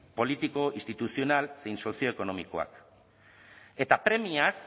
politiko instituzional zein sozioekonomikoak eta premiaz